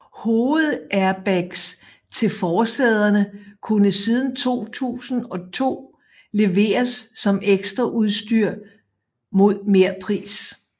Hovedairbags til forsæderne kunne siden 2002 leveres som ekstraudstyr mod merpris